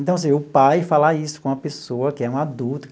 Então assim, o pai falar isso com uma pessoa que é um adulto.